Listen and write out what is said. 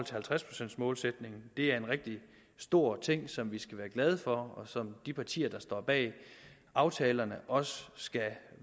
halvtreds procents målsætningen det er en rigtig stor ting som vi skal være glade for og som de partier der står bag aftalerne også skal